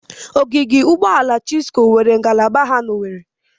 Ogige Ụgbọala Chisco nweere ngalaba ha n'Owere.